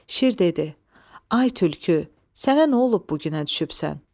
Şir dedi: Ay tülkü, sənə nə olub bu günə düşübsən?